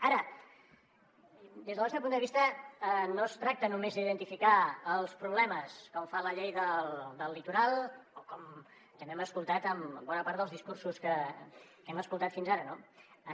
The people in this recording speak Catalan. ara des del nostre punt de vista no es tracta només d’identificar els problemes com fa la llei del litoral o com també hem escoltat en bona part dels discursos que hem escoltat fins ara no